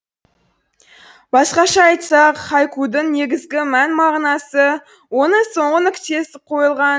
басқаша айтсақ хайкудың негізгі мән мағынасы оның соңғы нүктесі қойылған